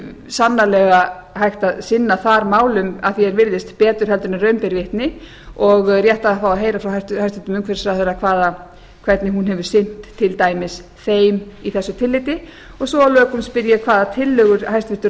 sannarlega hægt að sinna þar málum að því er virðist betur heldur en raun ber vitni og rétt að fá að heyra frá hæstvirtur umhverfisráðherra hvernig hún hefur sinnt til dæmis þeim í þessu tilliti svo að lokum spyr ég hvaða tillögur hæstvirtur